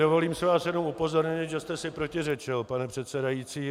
Dovolím si vás jenom upozornit, že jste si protiřečil, pane předsedající.